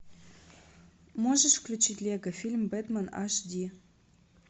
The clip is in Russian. можешь включить лего фильм бэтмен аш ди